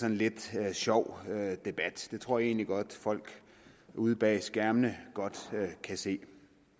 en lidt sjov debat det tror jeg egentlig godt folk ude bag skærmene kan se